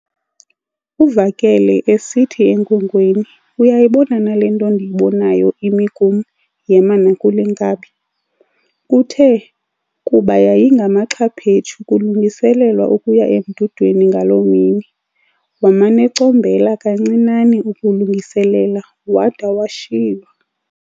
Uvakele esithi enkwenkweni, "Uyayibona na le nto ndiyibonayo imi kum, yema kule nkabi?". Kuthe kuba yayingamaxhaphetsu kulungiselelwa ukuya emdudweni ngaloo mini, waman'ecombela kancinane ukulungiselela wada washiywa.